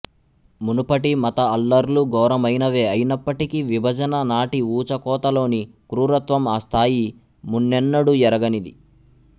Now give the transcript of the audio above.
మునుపటి మత అల్లర్లు ఘోరమైనవే అయినప్పటికీ విభజన నాటి ఊచకోతలోని క్రూరత్వం ఆ స్థాయీ మున్నెన్నడూ ఎరగనిది